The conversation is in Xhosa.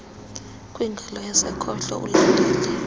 kwingalo yasekhohlo ulandele